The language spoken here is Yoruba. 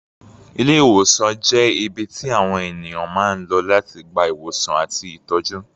Ilé-ìwòsàn jẹ́ ibi tí àwọn ènìyàn máa ń lọ láti gba ìwòsàn àti ìtọ́jú.